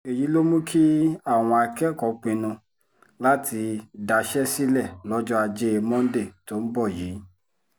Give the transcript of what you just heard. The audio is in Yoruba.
èyí ló mú kí àwọn akẹ́kọ̀ọ́ pinnu láti daṣẹ́ sílẹ̀ lọ́jọ́ ajé mọ́ńdè tó ń bọ̀ yìí